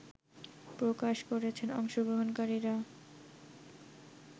প্রকাশ করেছেন অংশগ্রহণকারীরা